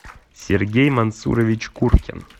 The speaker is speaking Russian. сергей мансурович куркин